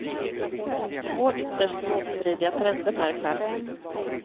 Två ytterst motstridiga trender märks här.